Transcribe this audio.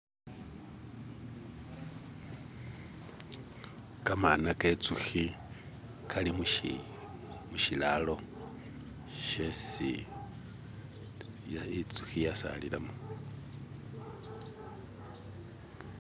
Gamana genzuki gali mu shi mushilalo shesi inzuki yasalilamo.